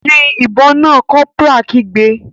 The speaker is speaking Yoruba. Yin ìbọn náà!, corporal kigbe.